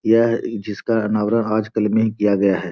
यह जिसका अनावरण आजकल में ही किया गया है।